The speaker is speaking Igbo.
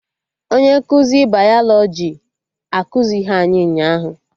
Onye nkụzi bayalọjị ekuzighi anyị ụnyaahụ